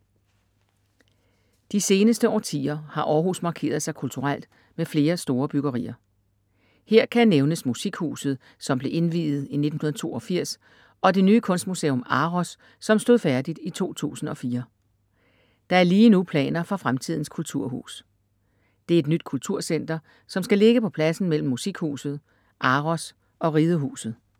De seneste årtier har Århus markeret sig kulturelt med flere store byggerier. Her kan nævnes Musikhuset, som blev indviet i 1982 og det nye kunstmuseum Aros, som stod færdigt i 2004. Der er lige nu planer for Fremtidens kulturhus. Det er et nyt kulturcenter, som skal ligge på pladsen mellem Musikhuset, Aros og Ridehuset.